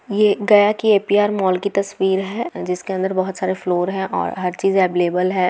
ये गया की APR mall की तस्वीरे है जिसके अंदर बहुत सारे फ्लोर है आ हर चीज अवलेबल है।